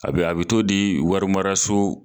A bɛ a bɛ t'o di warimaraso